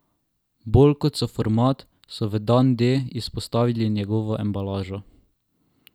Bolj kot sam format so v Dan D izpostavili njegovo embalažo.